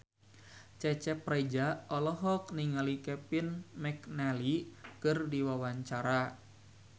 Cecep Reza olohok ningali Kevin McNally keur diwawancara